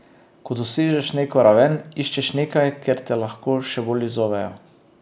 Ko dosežeš neko raven, iščeš nekaj, kjer te lahko še bolj izzovejo.